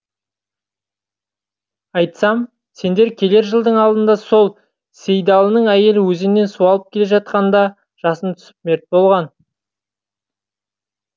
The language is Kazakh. айтсам сендер келер жылдың алдында сол сейдәлінің әйелі өзеннен су алып келе жатқанда жасын түсіп мерт болған